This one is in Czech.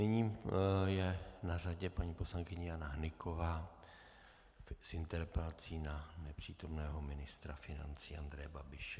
Nyní je na řadě paní poslankyně Jana Hnyková s interpelací na nepřítomného ministra financí Andreje Babiše.